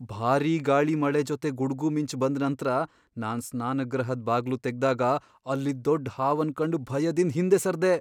ಭಾರಿ ಗಾಳಿ ಮಳೆ ಜೊತೆ ಗುಡ್ಗು ಮಿಂಚು ಬಂದ್ ನಂತ್ರ, ನಾನ್ ಸ್ನಾನಗೃಹದ್ ಬಾಗ್ಲು ತೆಗ್ದಾಗ ಅಲ್ಲಿದ್ ದೊಡ್ ಹಾವನ್ ಕಂಡ್ ಭಯದಿಂದ್ ಹಿಂದೆ ಸರ್ದೇ.